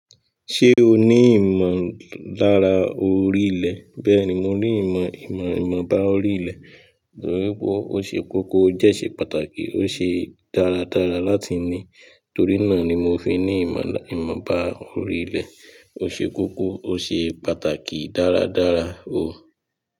Ṣé o ní ìmọ̀ lára orílẹ̀? Bẹ́ẹ̀ ni, mo ní ìmọ̀, ìmọ̀, ìmọ̀ bá orílẹ̀ torí pé ó ṣe kókó, ó dẹ̀ ṣe pàtàkì, ó ṣe dáradára láti ní torí náà ni mo fi ní ìmọ̀, ìmọ̀ bá orílẹ̀. Ó ṣe kókó, ó ṣe pàtàkì dáradára o.